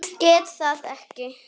Geta það ekki.